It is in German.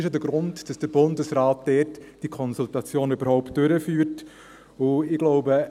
Dies ist denn der Grund, weshalb der Bundesrat die Konsultation dazu überhaupt durchführte.